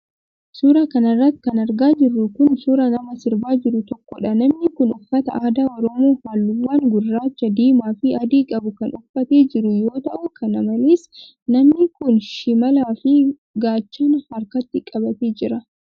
Suura kana irratti kan argaa jirru kun, suura nama sirbaa jiru tokkoodha. Namni kun uffata aadaa oromoo haalluuwwan gurraacha ,diimaa fi adii qabu kan uffatee jiru yoo ta'u kana malees namni kun shimalaa fi gaachana harkatti qabatee jira.